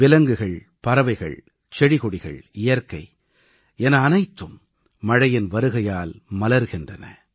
விலங்குகள் பறவைகள் செடிகொடிகள் இயற்கை என அனைத்தும் மழையின் வருகையால் மலர்கின்றன